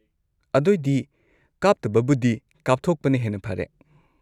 ꯑꯗꯣꯏꯗꯤ ꯀꯥꯞꯇꯕꯕꯨꯗꯤ ꯀꯥꯞꯊꯣꯛꯄꯅ ꯍꯦꯟꯅ ꯐꯔꯦ꯫